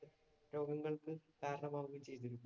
രോഗങ്ങള്‍ക്കും കാരണമാവുകയും ചെയ്തു.